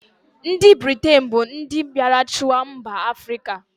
Ndị Britain bụ ndị mbịarachịwa mba Afrịka.